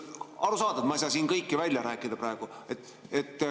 Arusaadav, et ma ei saa siin kõike praegu välja rääkida.